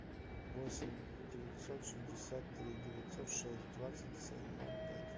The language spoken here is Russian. восемь девятьсот шестьдесят три девятьсот шесть двадцать семь ноль пять